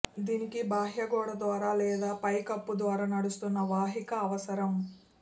దీనికి బాహ్య గోడ ద్వారా లేదా పైకప్పు ద్వారా నడుస్తున్న వాహిక అవసరం